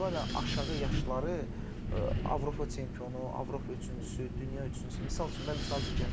Çünki Portuqaliyanın aşağı yaşları Avropa çempionu, Avropa üçüncüsü, dünya üçüncüsü, misal üçün də misal çəkirəm.